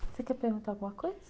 Você quer perguntar alguma coisa?